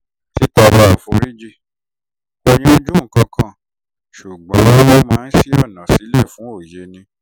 títọrọ àforíjì kò yanjú gbogbo nǹkan ṣùgbọ́n ó máa ń ṣí ọ̀nà sílẹ̀ fún òye